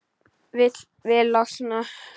Vil losna.